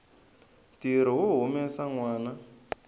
ntirho wo humesa nwana